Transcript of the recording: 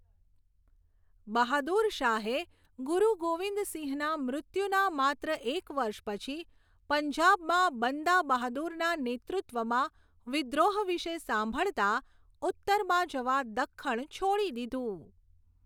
બહાદુર શાહે, ગુરુ ગોવિંદ સિંહના મૃત્યુના માત્ર એક વર્ષ પછી પંજાબમાં બંદા બહાદુરના નેતૃત્વમાં વિદ્રોહ વિશે સાંભળતા, ઉત્તરમાં જવા દખ્ખણ છોડી દીધું.